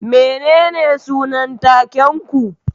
Menene sunan taken ku?